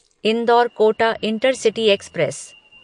indoor Kota intercity express